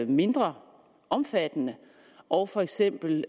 mindre omfattende og for eksempel